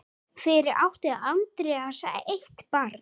Fyrir átti Andreas eitt barn.